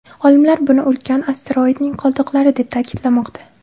Olimlar buni ulkan asteroidning qoldiqlari deb ta’kidlamoqda.